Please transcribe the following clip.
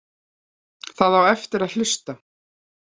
Það á eftir að hlusta.